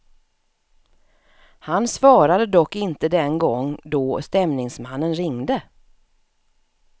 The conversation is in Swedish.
Han svarade dock inte den gång då stämningsmannen ringde.